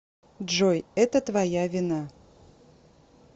джой это твоя вина